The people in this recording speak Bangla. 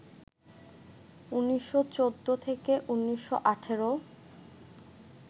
১৯১৪-১৯১৮